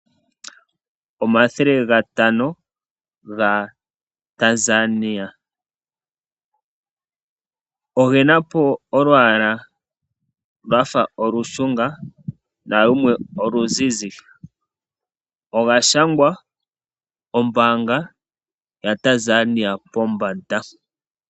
Omathele gatano gaTanzania ogena olwaala lwafa olushunga nalumwe oluzize . Oga shangwa ombaanga yaTanzania pombanda.